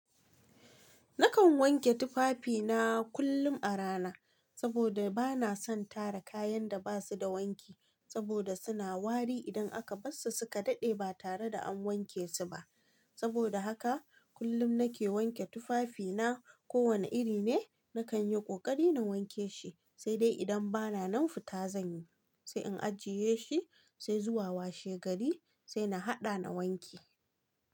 Nakan wanke tufafi na kullum a rana saboda bana son tara kayan da basu da wanki saboda suna wari idan aka bar su suka daɗe ba tare da an wanke su ba. Saboda haka kullum nake wanke tufafi na. Ko wane iri ne, nakanyi ƙoƙari na wanke shi, sai dai idan bana nan futazan yi, sai in ajiye shi, sai zuwa washe gari sai na haɗa na wanke.